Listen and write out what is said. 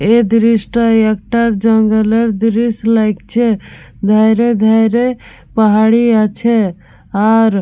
এ দৃশটা একটা জঙ্গলের দৃশ লাগছে। ধাইরে ধাইরে পাহাড়ি আছে। আর --